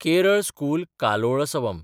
Kerala school Kalolsavam